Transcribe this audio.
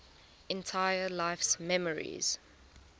entire life's memories